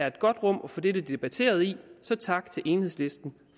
et godt rum at få dette debatteret i så tak til enhedslisten